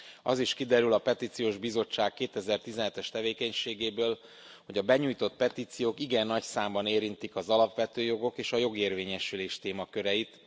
Az is kiderül a Petíciós Bizottság 2017 es tevékenységéből, hogy a benyújtott petíciók igen nagy számban érintik az alapvető jogok és a jogérvényesülés témaköreit.